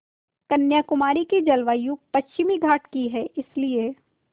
कन्याकुमारी की जलवायु पश्चिमी घाट की है इसलिए